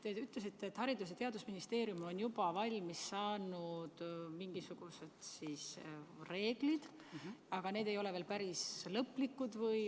Te ütlesite, et Haridus- ja Teadusministeerium on juba valmis saanud mingisugused reeglid, aga need ei ole veel päris lõplikud.